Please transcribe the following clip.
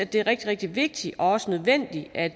det er rigtig rigtig vigtigt også nødvendigt at